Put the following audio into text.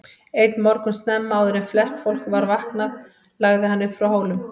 Einn morgun snemma, áður en flest fólk var vaknaði lagði hann upp frá Hólum.